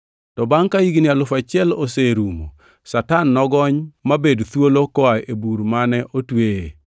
To bangʼ ka higni alufu achiel oserumo, Satan nogony mobed thuolo koa e bur mane otweye,